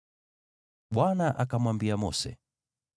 Bwana akamwambia Mose: